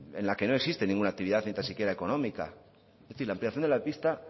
en la que no existe ninguna actividad ni tan siquiera económica es decir la ampliación de la pista